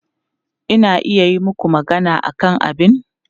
Ina iya yi maku magana akan abin?